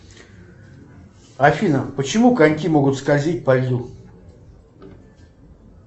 афина почему коньки могут скользить по льду